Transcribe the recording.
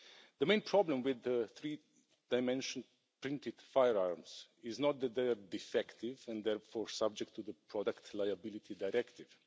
The main problem with three dimensional printed firearms is not that they are defective and therefore subject to the Product Liability Directive.